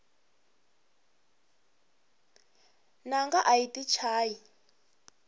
nanga ayi yti chayi